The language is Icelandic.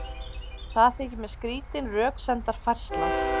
Það þykir mér skrýtin röksemdafærsla.